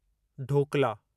dhokla